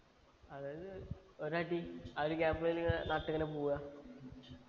അതായത് ഒരടി ആ ഒരു gap ഏല് നട്ട് ഇങ്ങനെ പോവാ